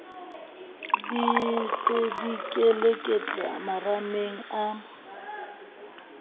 di se dikeleketla marameng a